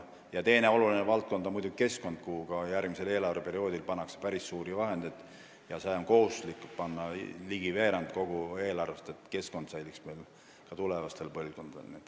Teine oluline valdkond on keskkond, kuhu ka järgmisel eelarveperioodil pannakse päris suuri vahendeid ja sinna on kohustuslik panna ligi veerand kogu eelarvest, et meie keskkond säiliks ka tulevastele põlvkondadele.